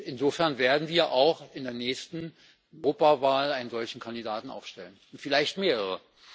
Insofern werden wir auch in der nächsten Europawahl einen solchen Kandidaten aufstellen, vielleicht mehrere.